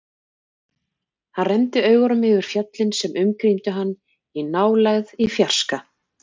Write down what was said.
Hann renndi augunum yfir fjöllin sem umkringdu hann, í nálægð, í fjarska.